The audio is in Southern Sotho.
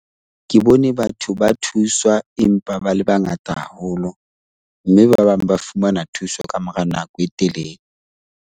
Ke bone batho ba thuswa empa ba le bangata haholo mme ba bang ba fumana thuso ka mora nako e telele.